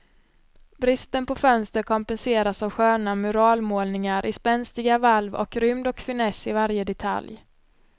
Bristen på fönster kompenseras av sköna muralmålningar i spänstiga valv och rymd och finess i varje detalj.